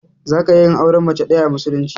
Zaka iya yin auren mace ɗaya a musulunci.